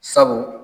Sabu